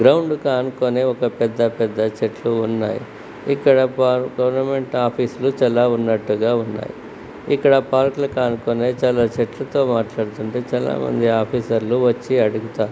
Ground కి ఆనుకొని ఒక పెద్ద పెద్ద చెట్లు ఉన్నాయి ఇక్కడ ప్పా-గోర్నమెంట్ ఆఫీస్ లు చాలా ఉన్నట్టుగా ఉన్నాయి ఇక్కడ పార్కు లకు ఆనుకొని చాలా చెట్లుతో మాట్లాడుతూ ఉంటే చాలామంది ఆఫీసర్ లు వచ్చి అడుగుతారు.